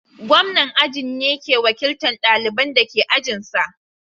Gwamnan ajin ne ke wakiltan ɗalibanda ke ajin sa.